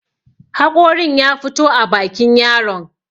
haƙorin ya fito a bakin yaron